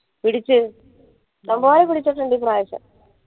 പിടിച് നന്നായി പിടിച്ചിട്ടുണ്ട് ഇപ്പ്രാവശ്യം